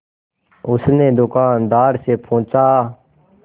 उसने दुकानदार से पूछा